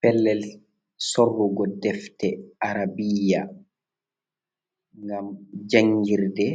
Pellel sorrugo defte arabiya ngam jangirde